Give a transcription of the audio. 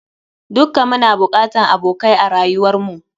Dukka muna bokatan abokai a rayuwar mu.